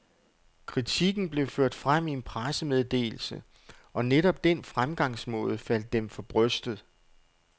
Kritikken blev ført frem i en pressemeddelse, og netop den fremgangsmåde faldt dem for brystet.